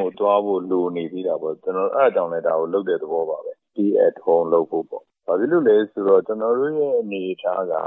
ကို သွားဖို့ လိုနေသေးတာပေါ့။ ဒါကြောင့်လည်း ဒါကိုလုပ်တဲ့သဘောပါပဲ။ Stay at Home လုပ်ဖို့ပေါ့။ ဘာဖြစ်လို့လဲဆိုတော့ ကျနော်တို့ရဲ့ အနေအထားက ဒါ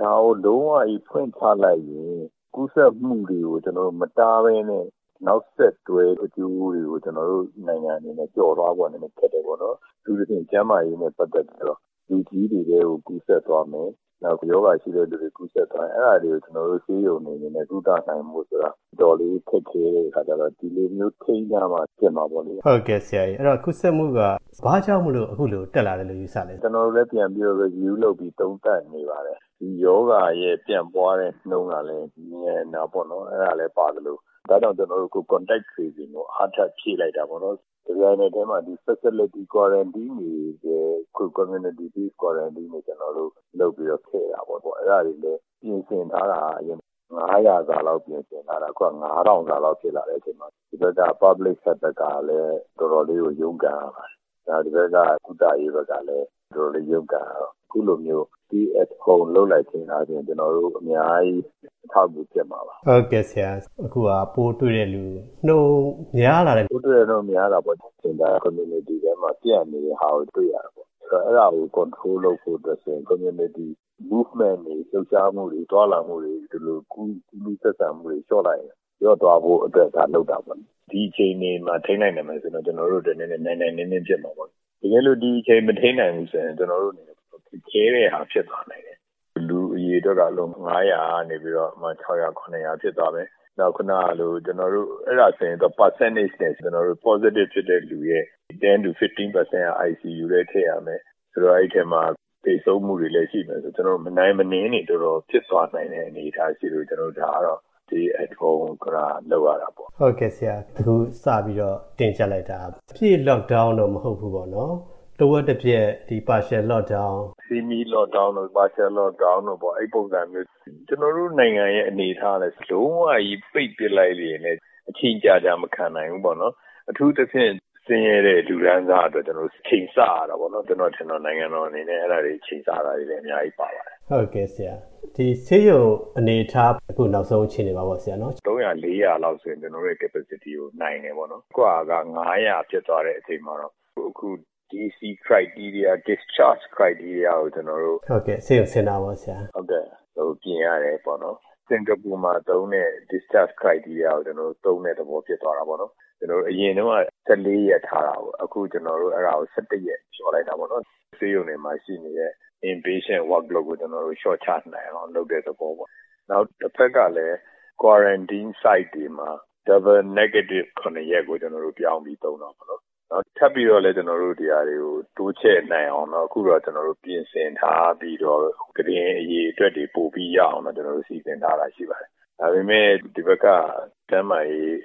ကို လုံးဝကြီး ဖွင့်ချလိုက်ရင် ကျနော်တို့ ကူးစက်မှုတွေကို မတားဘဲနဲ့ နောက်ဆက်တွဲ အကျိုးတွေကို ကျနော်တို့နိုင်ငံအနေနဲ့ ကျော်လွှားဖို့ နည်းနည်းခက်တယ်ပေါ့နော်။ အထူးသဖြင့် ကျန်းမာရေးနဲ့ ပတ်သက်ပြီးတော့ လူကြီးတွေကို ကူးစက်သွားမယ်၊ နောက် ရောဂါအခံရှိတဲ့လူတွေဆီ ကူးစက်သွားမယ်ဆိုရင် အဲ့ဒါတွေကို ကျနော်တို့ ဆေးရုံတွေအနေနဲ့ ကုသနိုင်ဖို့ဆိုတာ အတော်လေး ခက်ခဲတဲ့အခါကျတော့ ဒီလိုမျိုး ထိန်းထားမှ ဖြစ်မှာပေါ့လေ။” ဟုတ်ကဲ့ဆရာ၊ ဒီကူးစက်မှုက ဘာကြောင့်မို့ ခုလိုတက်လာတယ်လို့ ယူဆလဲ။ ကျနော်တို့လည်း ပြန်လေ့လာပြီး သုံးသပ်နေပါတယ်။ ဒီရောဂါရဲ့ ပြန့်ပွားနှုန်းကလည်း မြန်တာပေါ့နော်၊ အဲ့ဒါလည်းပါသလို ဒါကြောင့် Contact Tracing ကို ကျေနာ်တို့ အားထပ်ဖြည့်လိုက်တာပေါ့။ တပြိုင်နက်တည်းမှာ ကျေနာ်တို့ ဒီ Facility Quarantine ထဲကို Community-based Quarantine ရပ်ရွာအခြေပြု သွားလာကန့်စခန်းတွေ လုပ်ပြီးတော့ ထည့်တာပေါ့။ အဲဒါတွေလည်း အရင်ပြင်ဆင်ထားတာက အရင် ပိုးတွေ့သူပေါင်း ၅၀၀ စာလောက် ပြင်ဆင်ထားတာ။ အခု ၅,၀၀၀ လောက် ဖြစ်လာတဲ့အချိန်မှာ တဖက်က ပြည်သူ့ကျန်းမာရေးအဖွဲ့ဘက်ကလည်း တော်တော်လေးကို ရုန်းကန်ရပါတယ်။ နောက် ဒီဘက်က ကုသရေးဘက်ကလည်း တော်တော်လေး ရုန်းကန်ရတော့ ခုလိုမျိုး Stay at Home လုပ်လိုက်တော့ အများကြီး အထောက်အကူဖြစ်မှာပါ။” အခုဟာ ပိုးတွေ့တဲ့လူနှုန်း များလာတဲ့အနေအထား။ ဟုတ်တယ်၊ ပိုးတွေ့တဲနှုန်း များလာတာပေါ့။ ဒါ ရပ်ရွာထဲမှာ ပျံ့နေတာကို တွေ့ရတာပေါ့။ အဲ့ဒီဟာကို ထိန်းချုပ်တာ လုပ်ဖို့ဆိုရင် ရပ်ရွာထဲမှာ သွားလာလှုပ်ရှားမှုတွေ၊ လှုပ်ရှားမှုတွေ၊ သွားလာမှုတွေ၊ ဒီလို ကူးလူးဆက်ဆံမှုတွေကို လျှော့လိုက်ရင် လျော့သွားဖို့အတွက် ဒါလုပ်တာပေါ့လေ။ ဒီအခြေအနေမှာ ထိန်းနိုင်မယ်ဆိုရင်တော့ ကျနော်တို့အတွက် နိုင်နိုင်နင်းနင်း ဖြစ်မှာပေါ့နော်။ တကယ်လို့ ဒီအခြေအနေကို မထိန်းနိုင်ရင်တော့ ကျနော်တို့အနေနဲ့ တော်တော်ခက်ခဲတဲ့ဟာ ဖြစ်လာနိုင်တယ်။ နေ့စဉ်ပိုးတွေ့လူ အရေအတွက်က ၅၀၀ ကနေ ဥပမာ ၆၀၀၊ ၇၀၀ ဖြစ်သွားမယ်။ နောက် ခုနကလို အဲ့ဒါဆိုရင် ရာခိုင်နှုန်းနဲ့ ကျနော်တို့ Positive ဖြစ်သူရဲ့ ၁၀-၁၅ ရာခိုင်နှုန်းက ICU ထဲ ထည့်ရမယ်။ ဆိုတော့ အဲ့ဒီအထဲမှာ သေဆုံးမှုလည်း ရှိမယ်ဆိုတော့ ကျနော်တို့ မနိုင်မနင်းတွေ တော်တော်ဖြစ်သွားနိုင်တဲ့ အနေအထားရှိလို့ ဒါကတော့ Stay at Home က လုပ်ရတာပေါ့။” အခု စပြီးတော့ တင်းကျပ်လိုက်တာက အပြည့် Lockdown တော့ မဟုတ်ဘူးပေါ့နော်။ တပိုင်းတစ Lockdown သဘောမျိုး။ Semi-Lockdown တို့၊ Partial Lockdown တို့ အဲ့ဒီပုံစံမျိုး။ ကျနော်တို့နိုင်ငံရဲ့ အနေအထားကလည်း လုံးဝကြီး ပိတ်ပစ်လိုက်ရင်လည်း အချိန်ကြာကြာ မခံနိုင်ဘူးပေါ့နော်။ အထူးသဖြင့် ဆင်းရဲတဲ့ လူတန်းစားအတွက် ချိန်ဆရတာပေါ့နော်။ ကျနော်ထင်ပါတယ် နိုင်ငံတော်အနေနဲ့ အဲ့ဒါတွေ ချိန်ဆရတာလည်း အများကြီးပါပါတယ်။” အခု ဆေးရုံအနေအထား၊ အခု လူနာတွေ နေ့စဉ်တက်လာတဲ့ နောက်ဆုံးအခြေအနေမှာရော။ နေ့စဉ်ပိုးတွေ့သူ ၃၀၀၊ ၄၀၀ လောက်မှာဆိုရင် ကျနော်တို့ အနေအထားနဲ့ နိုင်တယ်ပေါ့နော်။ ဒါပေမယ့် အခုဟာ ၅၀၀ ဖြစ်သွားတဲ့ အချိန်မှာတော့ ဆေးရုံဆင်းခွင့်ကို ကျနော်တို့ ပြင်ရတယ်ပေါ့နော်။ စင်ကာပူမှာသုံးတဲ့ ဆေးရုံဆင်းခွင့်မျိုးကို သုံးတဲ့သဘော ဖြစ်သွားတာပေါ့နော်။ အရင်တုန်းက ၁၄ ရက်ထားတာပေါ့။ အခု အဲ့ဒါကို အခု ၁၁ ရက် လျှော့လိုက်တာပေါ့နော်။ ဆေးရုံမှာရှိတဲ့ အတွင်းလူနာ Workload ကို လျှော့ချနိုင်အောင် လုပ်တဲ့သဘောပေါ့။ နောက် တဖက်ကလည်း Quarantine Site တွေမှာ နှစ်ကြိမ်ဆက်တိုက် ပိုးမတွေ့တာ ၇ ရက်ကို ပြောင်းပြီး သုံးတော့မယ်နော်။ ထပ်ပြီးတော့လည်း ဒီနေရာတွေကို တိုးချဲ့နိုင်အောင် အခုတော့ ပြင်ဆင်ထားပြီးတော့ ကုတင်အရေအတွက်တွေ ပိုပြီးတော့ရအောင် စီစဉ်ထားတာရှိပါတယ်။ ဒါပေမယ့် ဒီဘက်က ကျန်းမာရေး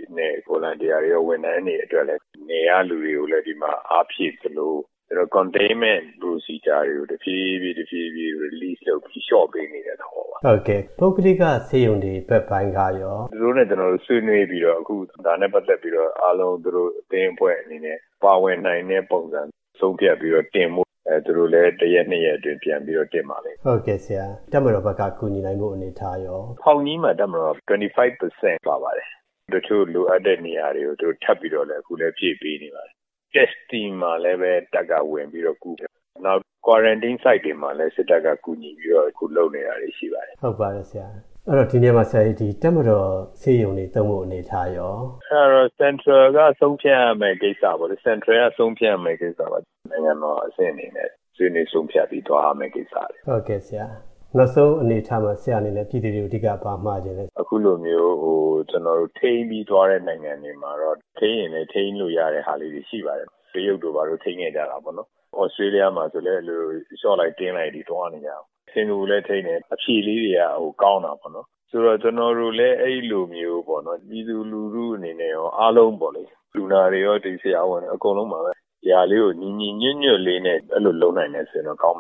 ဝန်ထမ်းတွေ၊ စေတနာ့ဝန်ထမ်းတွေ အတွက်လည်း နယ်ကလူတွေကို ဒီမှာ အားဖြည့်သလို ကျနော်တို့ အပြင်မပျံ့အောင် အတွင်းမှာ ထိန်းချုပ်ထားရေး လုပ်ငန်းစဉ်တွေကိုလည်း တဖြည်းဖြည်း တဖြည်းဖြည်း လျှော့ပေါ့တာလုပ်ပေးပြီး လျှော့ပေးနေတဲ့သဘောပါ။” ပုဂ္ဂလိက ဆေးရုံတွေဘက်ပိုင်းကရော။ သူတို့နဲ့ ကျနော်တို့ ဆွေးနွေးပြီးတော့ ဝိုင်းကူကုသပေးရေးနဲ့ ပတ်သက်ပြီးတော့ အားလုံး သူတို့အသင်းအဖွဲ့အနေနဲ့ ပါဝင်နိုင်တဲ့ ပုံစံ ဆုံးဖြတ်ပြီးတော့ တင်ဖို့၊ သူတို့လည်း တရက်နှစ်ရက်အတွင်း တင်ပါလိမ့်မယ်။” တပ်မတော်ဘက်က ကူညီနိုင်ဖို့ အနေအထားရော။ ဖောင်ကြီးက ဆေးရုံမှာ တပ်မတော်က ၂၅ ရာခိုင်နှုန်း ပါပါတယ်။ တချို့ လိုအပ်တဲ့နေရာတွေကို သူတို့ အခု ထပ်ပြီးတော့လည်း ဖြည့်ပေးနေပါတယ်။ ဆေးစစ်တာမှာလည်း တပ်က ဝင်ပြီးတော့ကူတယ်။ နောက်ပြီးတော့ Quarantine Site တွေမှာလည်း စစ်တပ်က ကူညီပြီးတော့ ဝင်လုပ်ပေးနေတာတွေ ရှိပါတယ်။” ဟုတ်ပါတယ်ဆရာ၊ ဒီနေရာမှာ တပ်မတော်ဆေးရုံတွေပါ သုံးနိုင်မယ့် အနေအထားရော။ အဲ့ဒါတော့ ဗဟိုက ဆုံးဖြတ်ရမယ့်ကိစ္စပါ။ နိုင်ငံတော်အဆင့်အနေနဲ့ ဆွေးနွေး ဆုံးဖြတ်ပြီးတော့ သွားရမယ့်ကိစ္စပါ။” နောက်ဆုံးအနေအထားမှာ ဆရာ့အနေနဲ့ ပြည်သူတွေကို အဓိက ဘာမှချင်သေးလဲဆရာ။ အခုလိုမျိုး ကျနော်တို့ ထိန်းချုပ်ပြီးသွားတဲ့ နိုင်ငံတွေမှာတော့ ထိန်းရင်လည်း ထိန်းလို့ရတဲ့ဟာလေးတွေ ရှိပါတယ်။ တရုတ်တို့ ဘာတို့ ထိန်းခဲ့ကြတာပေါ့။ သြစတြေးလျမှာလည်း အဲ့လို လျှော့လိုက်၊ တင်းလိုက်တွေ သွားနေကြတာ။ စင်ကာပူလည်း ထိန်းတယ်၊ အဖြေလေးတွေက ကောင်းတာပေါ့နော်။ ဆိုလိုတာက ကျနော်တို့လည်း အဲ့လိုမျိုးပေါ့နော်၊ ပြည်သူလူထုအနေနဲ့လည်း အားလုံးပေါ့နော် လူနာတွေရော၊ ဆရာဝန်တွေရော၊ ဒီ အားလုံးပါပဲ၊ ဒီဟာလေးကို ညီညီညွတ်ညွတ်လေးနဲ့ အဲ့လိုလုပ်နိုင်မယ်ဆိုရင်တော့ ကောင်းမ